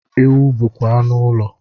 Ewu bụkwa anụ ụlọ